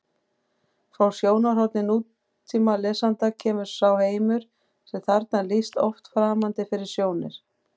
Frá sjónarhorni nútímalesanda kemur sá heimur sem þarna er lýst oft framandi fyrir sjónir: